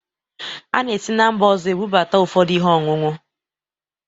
A na-esi na mba ọzọ ebụbata ụfọdụ ihe ọñụñụ